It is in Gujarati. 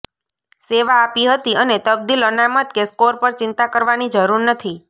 સેવા આપી હતી અને તબદીલ અનામત કે સ્કોર પર ચિંતા કરવાની જરૂર નથી